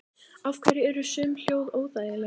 Af hverju eru sum hljóð óþægileg?